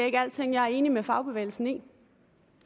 ikke er alle ting jeg er enig med fagbevægelsen i